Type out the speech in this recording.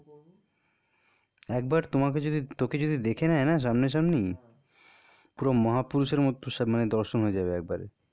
এবার তোমাকে যদি তোকে যদি দেখে নেই না? সামনা সামনি পুরো মহাপুরুষের মত মানে দর্শন হয়ে যাবে একবারে.